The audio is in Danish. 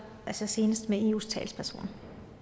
altså senest med eus talsperson